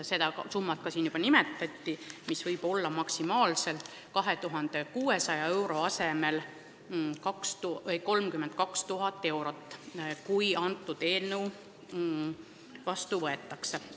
Seda summat siin juba nimetati, maksimaalselt võib see trahv nüüd 2600 euro asemel olla 32 000 eurot, kui seadus vastu võetakse.